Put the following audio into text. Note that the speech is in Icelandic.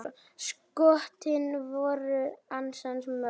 Skotin voru ansi mörg.